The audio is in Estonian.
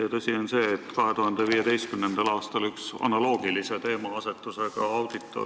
Ja tõsi on see, et ka 2015. aastal oli teil üks analoogilise teemaasetusega audit.